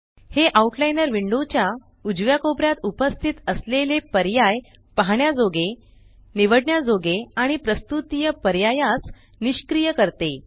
हे outliner window च्या उजव्या कोपऱ्यात उपस्थित असलेले पर्याय पाहण्याजोगे निवडण्याजोगे आणि प्रस्तुत तिय पर्यायास निष्क्रिय करते